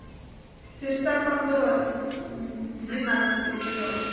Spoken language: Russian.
сердца пандоры двенадцатый сезон